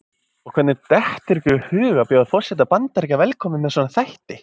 Og hvernig dettur ykkur í hug að bjóða forseta Bandaríkjanna velkominn með svona þætti?